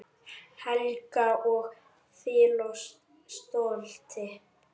Helga: Og fyllast stolti?